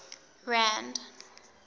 rand